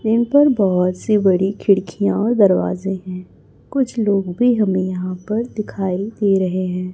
Frame पर बहुत सी बड़ी खिड़कियां दरवाजे हैं कुछ लोग भी हमें यहां पर दिखाई दे रहे हैं।